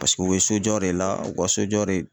Paseke u bɛ so jɔ de la u ka so jɔ de